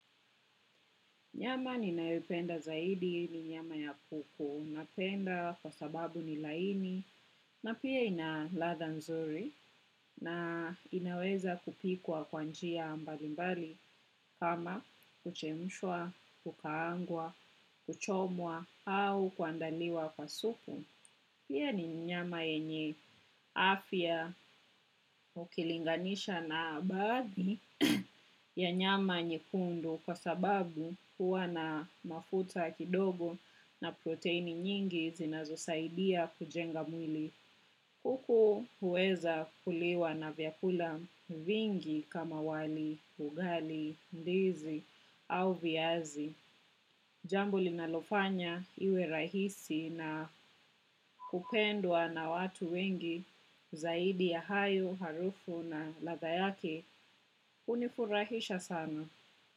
Nyama ninayoipenda zaidi ni nyama ya kuku. Napenda kwa sababu ni laini na pia ina ladha nzuri na inaweza kupikwa kwa njia mbali mbali kama kuchemshwa, kukaangwa, kuchomwa au kuandaliwa kwa supu. Hio ni nyama yenye afya ukilinganisha na baadhi ya nyama. Nyekundu kwa sababu huwa na mafuta kidogo na protini nyingi zinazosaidia kujenga mwili. Kuku huweza kuliwa na vyakula vingi kama wali, ugali, ndizi au viazi. Jambo linalofanya iwe rahisi na kupendwa na watu wengi. Zaidi ya hayo, harufu na ladha yake hunifurahisha sana.